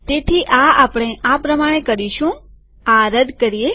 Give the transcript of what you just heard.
તેથી આ આપણે આ પ્રમાણે કરીશુંઆ રદ કરીએ